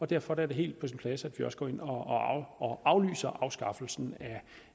derfor er det helt på sin plads at vi også går ind og aflyser afskaffelsen af